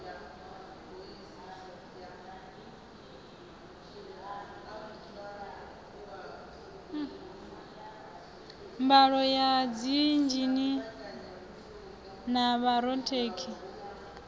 mbalo ya dziinzhinia na vhorathekhiniki